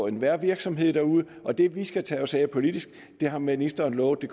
enhver virksomhed derude og det vi skal tage os af politisk har ministeren lovet at